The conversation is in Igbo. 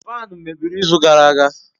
Faanu mebiri izu gara aga.